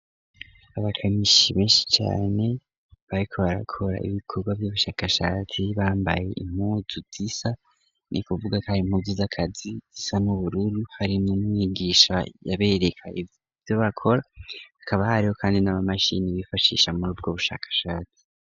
Abakanishi benshi cane bariko barakora ibikorwa vy'ubushakashatsi bambaye impuzu zisa ni ukuvuga kwari impuzu z'akazi zisa n'ubururu hari n'umwigisha yabereka ivyo bakora hakaba hariho kandi n'amamashini bifashisha muri ubwo bushakashatsi.